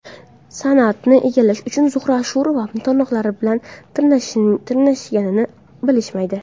San’atni egallash uchun Zuhra Ashurova tirnoqlari bilan tirmashganini bilishmaydi.